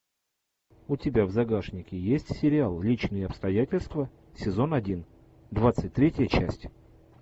у тебя в загашнике есть сериал личные обстоятельства сезон один двадцать третья часть